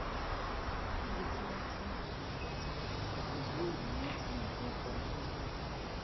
níbi tí wọn ti ń jàgùdù láti ra epo bẹntiróòlù ni wọn ti yìnbọn pa géńdé yìí